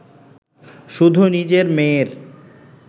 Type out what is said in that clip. শুধু নিজের মেয়ের